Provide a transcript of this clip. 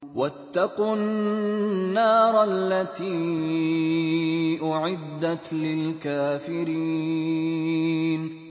وَاتَّقُوا النَّارَ الَّتِي أُعِدَّتْ لِلْكَافِرِينَ